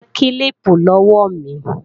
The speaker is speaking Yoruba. Gba kílíìpù lọ́wọ́ mi!